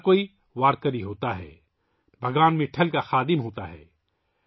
ہر کوئی وارکری ہوتا ہے، بھگوان وٹھل کا سیوک ہوتا ہے